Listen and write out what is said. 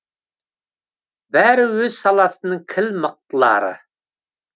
бәрі өз саласының кіл мықтылары